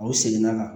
Aw seginna ka na